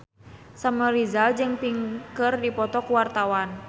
Samuel Rizal jeung Pink keur dipoto ku wartawan